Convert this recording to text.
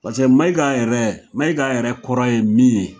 Pase Maiga yɛrɛ Maiga yɛrɛ kɔrɔ ye min ye